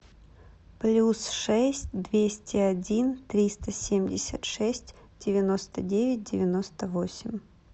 плюс шесть двести один триста семьдесят шесть девяносто девять девяносто восемь